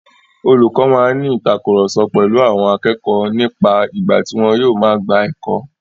Olùkọ máa ní ìtàkurọ̀sọ pèlu àwọn akẹ́kọ̀ọ́ nípa ìgbà tí wọn yóò máa gba ẹ̀kọ́.